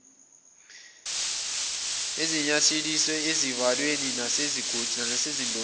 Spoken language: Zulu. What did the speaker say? ezinanyathiselwe ezivalweni nasezidongeni